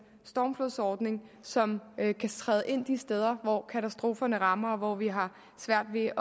stormflodsordning som kan kan træde ind de steder hvor katastroferne rammer og vi har svært ved at